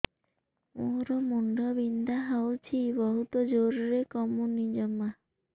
ମୋର ମୁଣ୍ଡ ବିନ୍ଧା ହଉଛି ବହୁତ ଜୋରରେ କମୁନି ଜମା